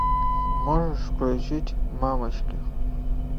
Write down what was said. можешь включить мамочки